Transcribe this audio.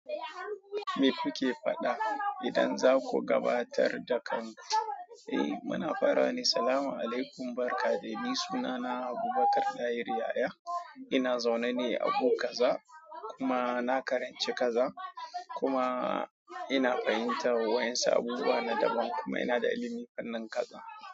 Me kuke fada idan zaku gabatarda kanku? Eh mufarawa da Assalamualaikum barka dai ni sunana Abubakar Dahiru Yahaya ina zaune ne a Agu kaza kuma na karanci kaza kuma ina fahimtar wayansu abubauwa na daban kuma ina da ilimin fannin kaza."